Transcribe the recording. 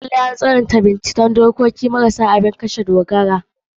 Lalai an tswaita bincike direbobi marasa abun kashe gobara.